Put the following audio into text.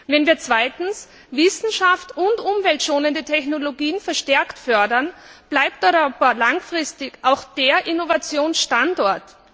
Wenn wir zweitens Wissenschaft und umweltschonende Technologien verstärkt fördern, bleibt Europa langfristig auch der Innovationsstandort.